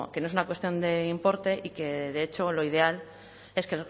sino que no es una cuestión de importe y que de hecho lo ideal es que